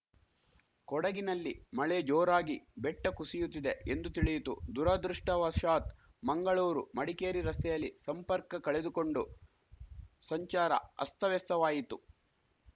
ಕೊಡಗಿನಲ್ಲಿ ಮಳೆ ಜೋರಾಗಿ ಬೆಟ್ಟಕುಸಿಯುತ್ತಿದೆ ಎಂದು ತಿಳಿಯಿತು ದುರಾದೃಷ್ಟವಶಾತ್‌ ಮಂಗಳೂರು ಮಡಿಕೇರಿ ರಸ್ತೆಯಲ್ಲಿ ಸಂಪರ್ಕ ಕಳೆದುಕೊಂಡು ಸಂಚಾರ ಅಸ್ತವ್ಯಸ್ತವಾಯಿತು